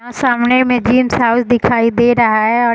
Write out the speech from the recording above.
यहाँ सामने में जिम्स रावल दिखाई दे रहा है और --